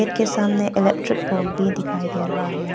के सामने electric pole भी दिखाई दे रहा है।